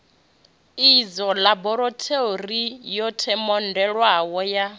idzwo ḽaborathori yo themendelwaho ya